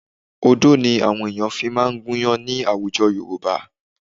Odó ni àwọn ènìyàn fi máa ń gúnyán ní àwùjọ Yorùbá